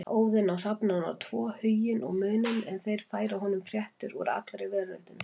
Óðinn á hrafnana tvo Huginn og Muninn en þeir færa honum fréttir úr allri veröldinni.